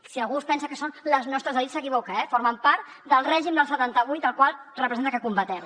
si algú es pensa que són les nostres elits s’equivoca eh formen part del règim del setanta vuit el qual representa que combatem